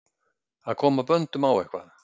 Að koma böndum á eitthvað